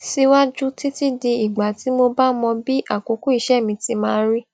síwájú títí di ìgbà tí mo bá mọ bí àkókò iṣẹ mi ti máa rí